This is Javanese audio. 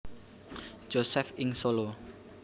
Josef ing Solo